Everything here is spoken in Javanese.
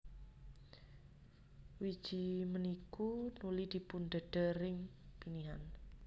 Wiji punikuy nuli dipundhedher ing pinihan